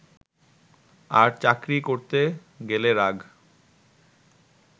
আর চাকরি করতে গেলে রাগ